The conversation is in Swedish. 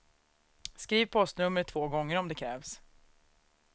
Skriv postnumret två gånger om det krävs.